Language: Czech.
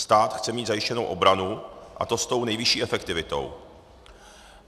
Stát chce mít zajištěnou obranu, a to s tou nejvyšší efektivitou.